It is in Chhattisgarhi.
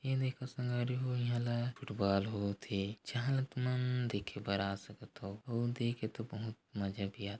ये देखो संगवारी हो इहा ल फुटबॉल होत हे चाहा तो तुमन देखे बर आ सकत हो ओ देख तो बहुत मजा भी आ--